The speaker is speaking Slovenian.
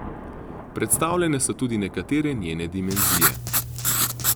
Predstavljene so tudi nekatere njene dimenzije.